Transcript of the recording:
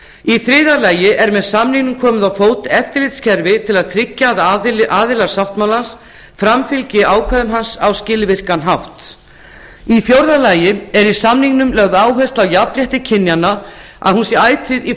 í þriðja lagi er með samningnum komið á fót eftirlitskerfi til að tryggja að aðilar sáttmálans framfylgi ákvæðum hans á skilvirkan hátt í fjórða lagi er í samningnum lögð áhersla á að jafnrétti kynjanna sé ætíð í